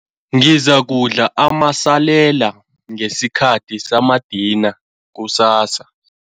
Ngizakudla amasalela ngesikhathi samadina kusasa.